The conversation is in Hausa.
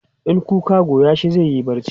in kuka Goya shi zaiyi barci